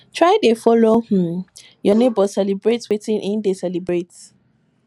try de follow um your neighbors celebrate wetin in de celebrate